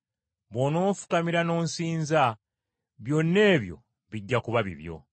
Bw’onoofukamira n’onsinza byonna ebyo bijja kuba bibyo.”